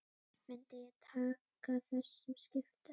Myndi ég taka þessum skiptum?